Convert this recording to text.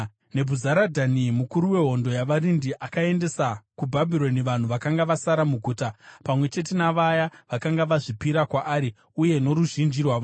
Nebhuzaradhani mukuru wehondo yavarindi akaendesa kuBhabhironi vanhu vakanga vasara muguta pamwe chete navaya vakanga vazvipira kwaari uye noruzhinji rwavanhu.